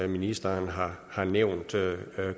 ministeren har har nævnt